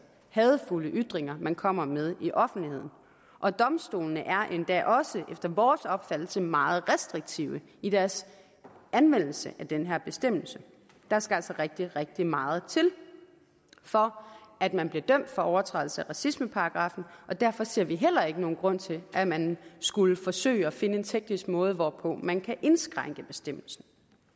hadefulde ytringer man kommer med i offentligheden og domstolene er da også efter vores opfattelse meget restriktive i deres anvendelse af den her bestemmelse der skal altså rigtig rigtig meget til for at man bliver dømt for overtrædelse af racismeparagraffen og derfor ser vi heller ikke nogen grund til at man skulle forsøge at finde en teknisk måde hvorpå man kan indskrænke bestemmelsen